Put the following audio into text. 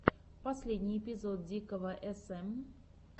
последний эпизод дикого см